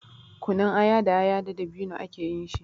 Kunun aya da aya da dabino ake yin shi.